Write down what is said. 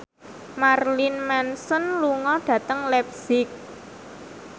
Marilyn Manson lunga dhateng leipzig